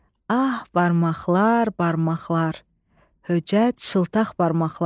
"Ah, barmaqlar, barmaqlar, höcət şıltaq barmaqlar!"